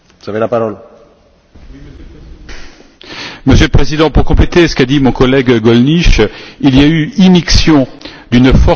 Monsieur le Président, pour compléter ce qu'a dit mon collègue Gollnisch, il y a eu immixtion d'une force étrangère dans la délibération du Parlement.